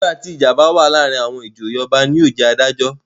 Nígbà tí ìjà bá wà láàárin àwọn ìjòyè. Ọba ni yóò jẹ́ adájọ́.